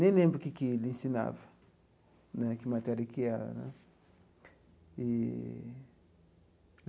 Nem lembro que que ele ensinava né, que matéria que era né eee.